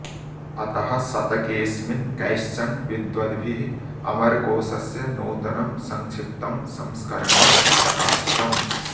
अतः शतकेऽस्मिन् कैश्चन विद्वद्भिः अमरकोषस्य नूतनं संक्षिप्तं संस्करणं प्रकाशितम्